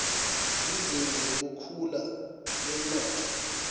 lizinga lekukhula kwemnotfo